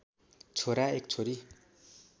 छोरा एक छोरी